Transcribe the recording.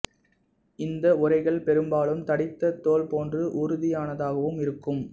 இந்த உறைகள் பெரும்பாலும் தடித்த தோல் போன்று உறுதியானதாகவும் இருக்கும்